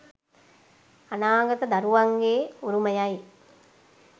අනාගත දරුවන්ගේ උරුමයයි.